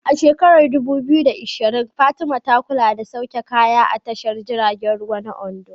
A shekarar 2020, Fatima ta kula da sauke kaya a tashar jiragen ruwa na Ondo.